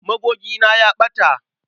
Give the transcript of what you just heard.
Magogina ya ɓata.